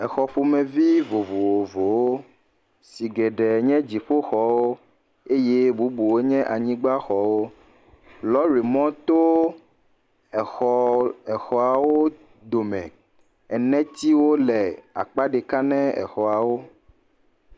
Exɔ ƒomevi vovovowo si geɖe nye dziƒoxɔ eye bubuwo nye anyigba xɔ. Lɔɖimɔ to exɔ exɔawo dome. Enetsiwo le akpa ɖeka ne exɔawo